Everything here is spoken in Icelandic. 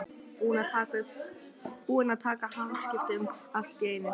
Búinn að taka hamskiptum allt í einu.